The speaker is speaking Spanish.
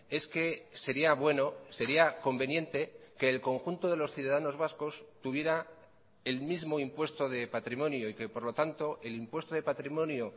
es que sería bueno sería conveniente que el conjunto de los ciudadanos vascos tuviera el mismo impuesto de patrimonio y que por lo tanto el impuesto de patrimonio